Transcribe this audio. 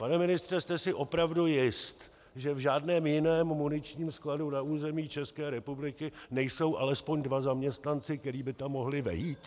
Pane ministře, jste si opravdu jist, že v žádném jiném muničním skladu na území České republiky nejsou alespoň dva zaměstnanci, kteří by tam mohli vejít?